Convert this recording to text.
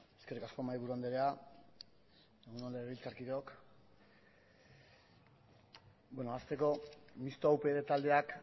eskerrik asko mahaiburu andrea egun on legebiltzarkideok hasteko mixto upyd taldeak